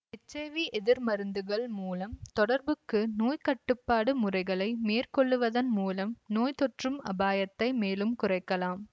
H I V எதிர் மருந்துகள் மூலம் தொடர்புக்கு நோய்க்கட்டுப்பாடு முறைகளை மேற்கொள்ளுவதன் மூலம் நோய் தொற்றும் அபாயத்தை மேலும் குறைக்கலாம்